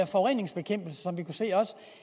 forureningsbekæmpelse som